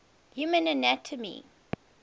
human anatomy